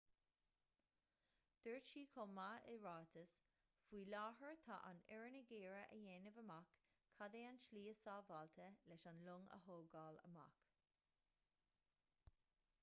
dúirt siad chomh maith i ráiteas faoi láthair tá an fhoireann ag iarraidh a dhéanamh amach cad é an tslí is sábháilte leis an long a thógáil amach